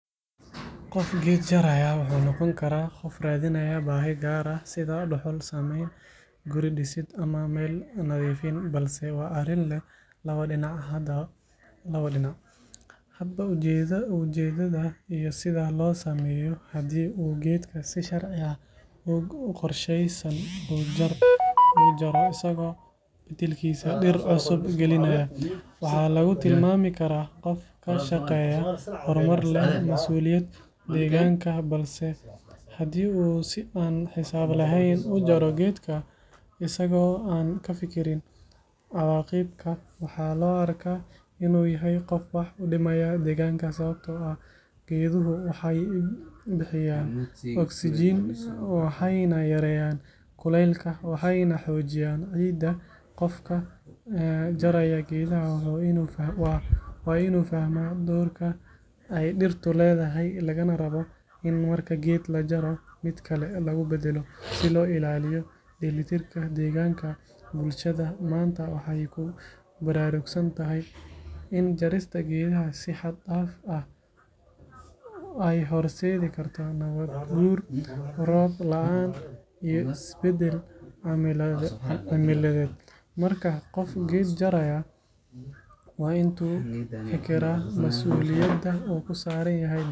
Qof geed jaraya wuxuu noqon karaya inuu radinaayo baahi gaar ah, hadba ujeedada, hadii hedga si sharciyeysan ujaro, masuuliyad deeganka, asago aan kafikirin waxaa loo arko inuu wax udibayo deeganka, waxeey xojinaayan ciida, waa inuu fahmo, deeli tirk bulshada, in jarista geedaha aay hor sedi karto roob laan iyo is badal macalimeed, masuliyada kusaaran yahay.